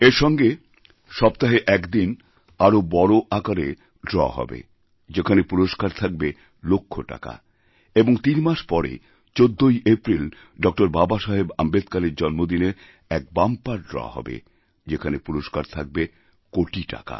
এর সঙ্গে সপ্তাহে এক দিন আরও বড়আকারে ড্র হবে যেখানে পুরস্কার থাকবে লক্ষ টাকা এবং তিন মাস পরে ১৪ই এপ্রিলডক্টর বাবাসাহেব আম্বেদকরের জন্মদিনে এক বাম্পার ড্র হবে যেখানে পুরস্কার থাকবেকোটি টাকার